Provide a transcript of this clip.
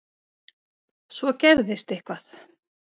Svo gerðist eitthvað.